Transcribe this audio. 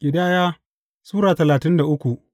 Ƙidaya Sura talatin da uku